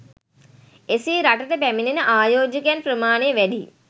එසේ රටට පැමිණෙන ආයෝජකයන් ප්‍රමාණය වැඩි